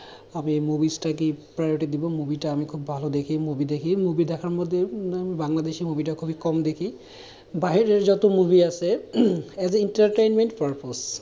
আমি movies তাকেই priority দেবো movie টা আমি খুব ভালো দেখি movie দেখি movie দেখার মধ্যে উম বাংলাদেশী movie টা খুব কম দেখি বাইরের যত movie আছে as a entertainment purpose